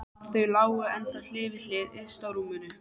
Þau lágu ennþá hlið við hlið yst á rúminu.